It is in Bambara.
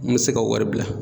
N mi se ka wari bila